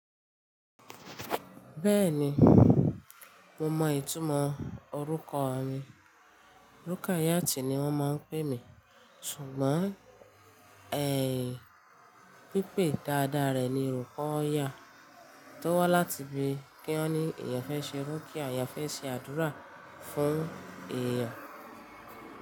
Bẹ́ẹ̀ni, mo mọ ìtumọ̀ orúkọ mi. Rúkàyátì ni wọ́n máa ń pè mí ṣùgbọ́n ẹ̀h pípé dáadáa rẹ̀ ni orúkọ Ọya tó wá láti ibi kí wọ́n ní ìyẹn fẹ́ ṣe irú kí àyà fẹ́ ṣe àdúrà fún èèyàn.